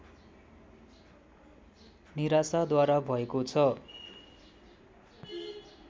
निराशाद्वारा भएको छ